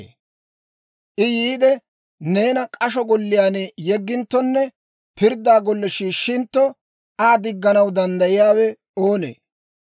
I yiide, neena k'asho golliyaan yegginttonne pirdda golle shiishshintto, Aa digganaw danddayiyaawe oonee?